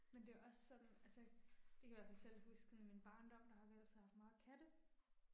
Men det er også sådan altså, det kan jeg i hvert fald selv huske sådan i min barndom, der har vi altid haft meget katte